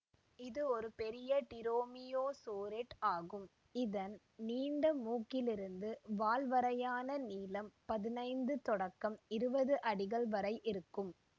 இது ஒரு பெரிய டிரோமியோசோரிட் ஆகும் இதன் நீண்ட மூக்கிலிருந்து வால் வரையான நீளம் பதினைந்து தொடக்கம் இருபது அடிகள் வரை இருக்கும்